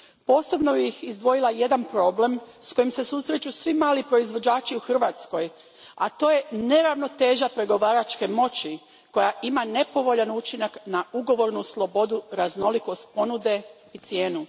Posebno bih izdvojila jedan problem s kojim se susreću svi mali proizvođači u Hrvatskoj, a to je neravnoteža pregovaračke moći koja ima nepovoljan učinak na ugovornu slobodu, raznolikost ponude i cijenu.